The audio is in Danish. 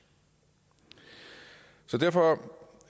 så derfor